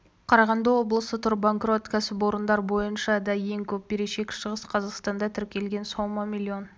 қарағанды облысы тұр банкрот кәсіпорындар бойынша да ең көп берешек шығыс қазақстанда тіркелген сома миллион